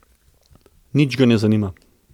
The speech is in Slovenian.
Nič ga ne zanima.